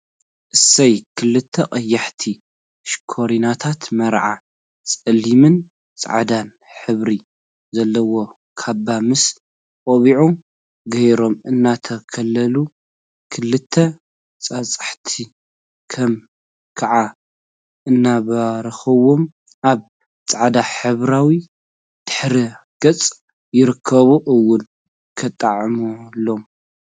እሰይ! ክልተ ቀያሕቲ ሽኮሪናታት መርዑ ፀሊምን ፃዕዳን ሕብሪ ዘለዎ ካባ ምስ ቆቢዑ ገይሮም እናተከለሉ ክልተ ጳጳሳት ከዓ እናባረክዎም አብ ፃዕዳ ሕብራዊ ድሕረ ገፅ ይርከቡ፡፡ እውይ ከጥዕመሎም!